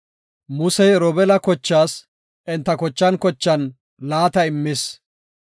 Musey Robeela kochaas enta kochan kochan laata immis.